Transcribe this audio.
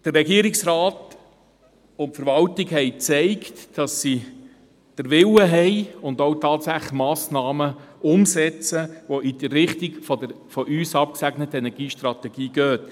Der Regierungsrat und die Verwaltung haben gezeigt, dass sie den Willen haben und auch tatsächlich Massnahmen umsetzen, die in die Richtung der von uns abgesegneten Energiestrategie gehen.